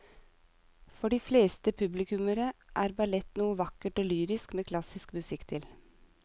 For de fleste publikummere er ballett noe vakkert og lyrisk med klassisk musikk til.